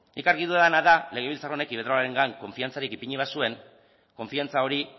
nik argi dudana da legebiltzar honek iberdrolarengan konfiantzarik ipini bazuen konfiantza hori